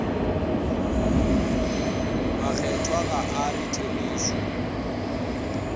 makgethwa ga a re therešo